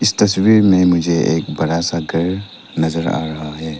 तस्वीर में मुझे एक बड़ा सा घर नजर आ रहा है।